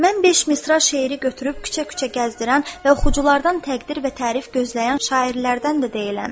"Mən beş misra şeiri götürüb küçə-küçə gəzdirən və oxuculardan təqdir və tərif gözləyən şairlərdən də deyiləm.